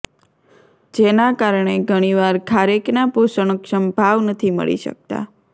જેના કારણે ઘણીવાર ખારેકના પોષણક્ષમ ભાવ નથી મળી શકતા